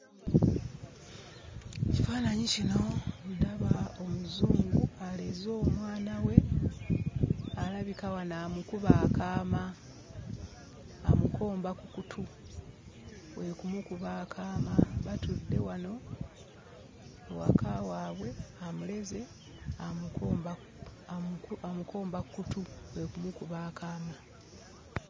Mu kifaananyi kino ndaba Omuzungu aleze omwana we alabika wano amukuba akaama, amukomba ku kutu, kwe kumukuba akaama. Batudde wano ewaka waabwe amuleze, amukomba amuku amukomba ku kutu; kwe kumukuba akaama.